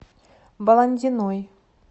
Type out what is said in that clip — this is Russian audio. баландиной